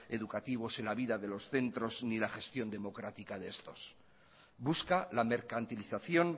educativos en la vida de los centros ni la gestión democrática de estos busca la mercantilización